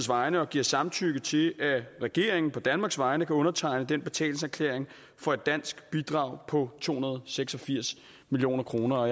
vegne og giver samtykke til at regeringen på danmarks vegne kan undertegne betalingserklæringen for et dansk bidrag på to hundrede og seks og firs million kroner